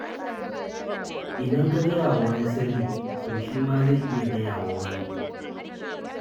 Idan ka gaya wa wani sirri, to shi ma zai iya gaya wa wani.